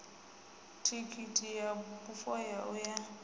thikhithi ya bufho ya uya